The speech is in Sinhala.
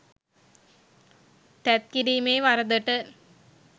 තැත්කිරීමේ වරදට